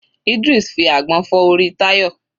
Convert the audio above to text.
Idris fi àgbọn fọ́ orí Tayo.